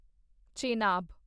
Chenab